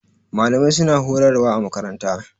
Malamai su na horarwa a makaranta